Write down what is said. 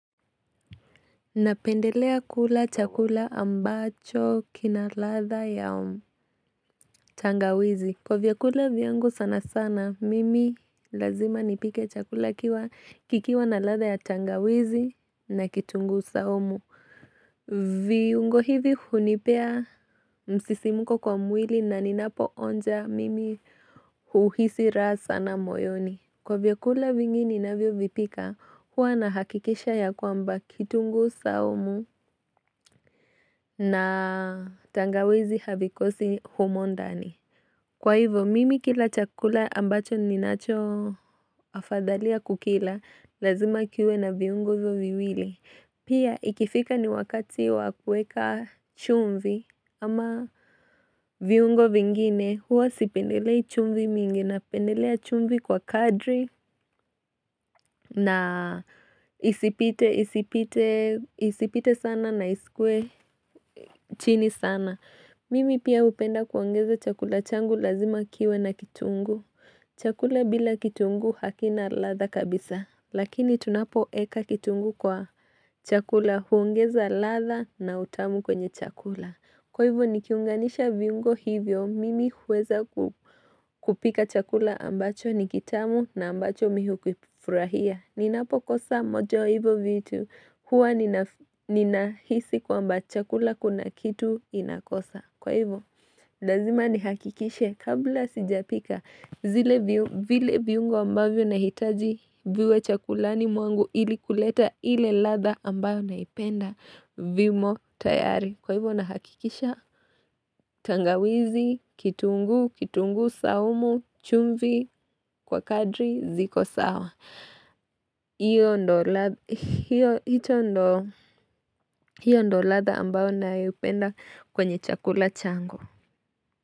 Napendelea kula chakula ambacho kina ladha ya tangawizi Kwa vyakula viyangu sana sana mimi lazima nipike chakula kikiwa na ladha ya tangawizi na kitungu saumu viungo hivi hunipea msisimuko kwa mwili na ninapo onja mimi uhisi raha sana moyoni Kwa vyakula vingi ninavyo vipika, hua nahakikisha ya kwamba kitungu saumu na tangawizi havikosi humo ndani. Kwa hivyo, mimi kila chakula ambacho ninacho afadhalia kukila, lazima kiwe na viyungo hivyo viwili. Pia ikifika ni wakati wakueka chumvi ama viungo vingine huwa sipendelei chumvi mingi na pendelea chumvi kwa kadri na isipite sana na isikwe chini sana. Mimi pia upenda kuongeza chakula changu lazima kiwe na kitungu. Chakula bila kitunguu hakina ladha kabisa. Lakini tunapo eka kitunguu kwa chakula huongeza ladha na utamu kwenye chakula. Kwa hivyo ni kiunganisha viungo hivyo, mimi huweza kupika chakula ambacho ni kitamu na ambacho mimi hukifurahia Ninapo kosa moja ya hivyo vitu huwa ninahisi kwamba chakula kuna kitu inakosa Kwa hivyo, lazima ni hakikishe kabla sijapika zile viungo ambavyo nahitaji viwe chakulani mwangu ili kuleta ile ladha ambayo naipenda vimo tayari Kwa hivyo na hakikisha, tangawizi, kitunguu, kitunguu saumu, chumvi kwa kadri ziko sawa. Hiyo ndo latha ambao nayo penda kwenye chakula changu.